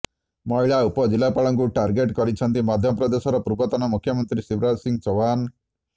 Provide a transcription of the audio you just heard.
ମହିଳା ଉପ ଜିଲ୍ଲାପାଳଙ୍କୁ ଟାର୍ଗେଟ କରିଛନ୍ତି ମଧ୍ୟପ୍ରଦେଶର ପୂର୍ବତନ ମୁଖ୍ୟମନ୍ତ୍ରୀ ଶିବରାଜ ସିଂହ ଚୌହାନ